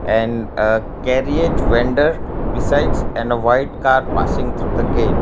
and uh vendor besides and a white car passing through the gate.